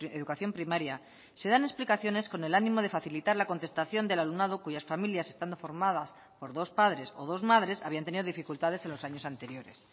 educación primaria se dan explicaciones con el ánimo de facilitar la contestación del alumnado cuyas familias están formadas por dos padres o dos madres habían tenido dificultades en los años anteriores